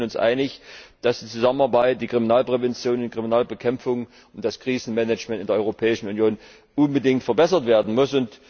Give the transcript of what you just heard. Ich denke, wir sind uns einig, dass die Zusammenarbeit die Kriminalprävention, die Kriminalbekämpfung und das Krisenmanagement in der Europäischen Union unbedingt verbessert werden muss.